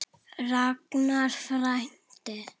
Ragnar frændi.